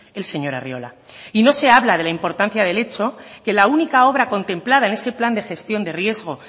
el señor arriola no se habla de la importancia del hecho que la única obra contemplada en ese plan de gestión de riesgos